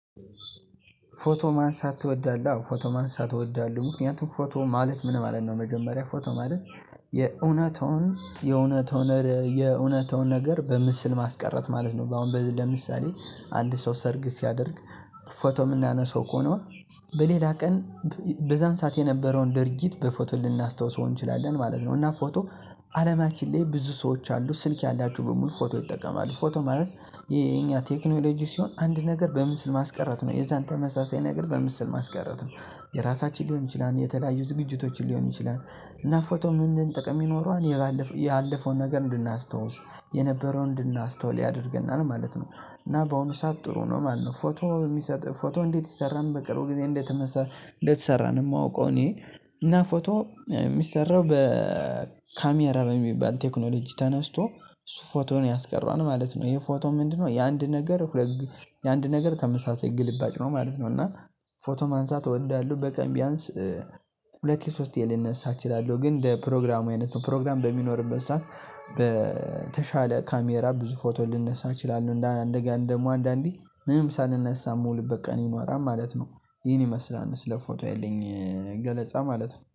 ፎቶ ማንሳት ትወዳለህ? አዎ ፎቶ ማንሳት እወዳለሁ ምክንያቱም ፎቶ ማለት ምን ማለት ነው? መጀመሪያ ፎቶ ማለት የእውነታውን የእውነታውን የእውነታውን ነገር በምስል ማስቀረት ማለት ነው። አሁን ለምሳሌ አንድ ሰው ሰርግ ሲያደርግ ፎቶ የምናነሳው እኮ ነው በሌላ ቀን በዛን ሰዓት የነበረውን ድርጊት በፎቶ ልናስታውሰው እንችላለን ማለት ነው። እና ፎቶ አለማችን ላይ ብዙ ሰዎች አሉ። ስልክ ያላችሁ በሙሉ ፎቶ ይጠቀማል ፎቶ ማለት የኛ ቴክኖሎጂ ሲሆን አንድ ነገር በምስል ማስቀረት ነው የዛን ተመሳሳይ ነገር በምስል ማስቀረት ነው። የራሳችን ሊሆን ይችላል የተለያዩ ዝግጅቶችን ሊሆን ይችላል። እና ፎቶ ምንድን ጥቅም ይኖረዋል ያለፈውን ነገር እንድናስታውስ የነበረውን እንድናስተውል ያደርገናል ማለት ነው። እና በአሁኑ ሰዓት ጥሩ ነው ማለት ነው። ፎቶ የሚሰጥ ፎቶ እንዴት ይሰራል በቅርቡ ጊዜ እንደተመሰ እንደተሰራ ነው። ማወቅው እኔ እና ፎቶ የሚሰራው በካሜራ በሚባል ቴክኖሎጂ ተነስቶ እሱ ፎቶውን ያስቀረዋል ማለት ነው። ይሄ ፎቶ ምንድነው? የአንድ ነገር የአንድ ነገር ተመሳሳይ ግልባጭ ነው ማለት ነው። እና ፎቶ ማንሳት እወዳለሁ በቀን ቢያንስ ሁለቴ ሶስቴ ልነሳ እችላለሁ። ግን እንደ ፕሮግራሙ አይነት ነው ፕሮግራም በሚኖርበት ሰዓት በተሻለ ካሜራ ብዙ ፎቶ ልነሳ እችላለሁ። እንደገና ደግሞ አንዳንዴ ምንም ሳንነሳ ምውልበት ቀን ይኖራል ማለት ነው። ይህን ይመስላል ስለ ፎቶ ያለኝ ገለጻ ማለት ነው